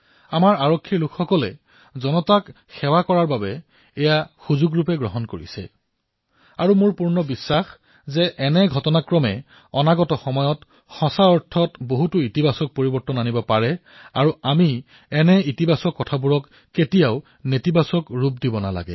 আমাৰ আৰক্ষীসকলে জনসাধাৰণৰ সেৱাক এক সুযোগ হিচাপে গ্ৰহণ কৰিছে আৰু মোৰ সম্পূৰ্ণ বিশ্বাসএই ঘটনাসমূহৰ পৰা আগন্তুক সময়ত প্ৰকৃততেই ইতিবাচক পৰিৱৰ্তন আহিব আৰু আমি এই ইতিবাচক পৰিবেশক কেতিয়াও নেতিবাচকলৈ পৰিৱৰ্তিত কৰিব নালাগে